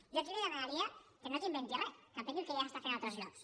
jo aquí li demanaria no que inventi re que apliqui el que ja s’està fent a altres llocs